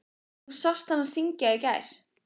Þú sást hana syngja í gær.